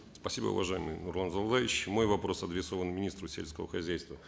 спасибо уважаемый нурлан зайроллаевич мой вопрос адресован министру сельского хозяйства